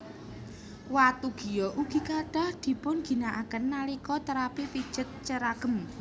Watu giok ugi kathah dipunginakaken nalika terapi pijet ceragem